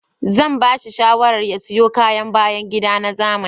Zan bashi shawarar ya siyo kayan bayan gida na zamani